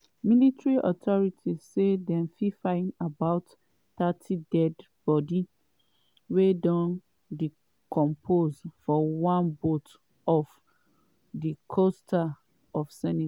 military authorities say dem find about thirty deadi-body wey don decompose for one boat off di coast of senegal.